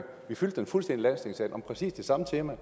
om præcis det samme tema